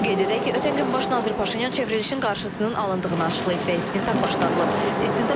Qeyd edək ki, ötən gün baş nazir Paşinyan çevrilişin qarşısının alındığını açıqlayıb, stinq başdadılıb.